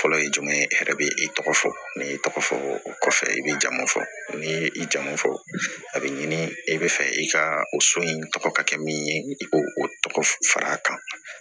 Fɔlɔ ye jumɛn ye e yɛrɛ bɛ i tɔgɔ fɔ ne y'i tɔgɔ fɔ o kɔfɛ i bɛ jamu fɔ n'i ye i jamu fɔ a bɛ ɲini e bɛ fɛ i ka o so in tɔgɔ ka kɛ min ye i k'o o tɔgɔ fara a kan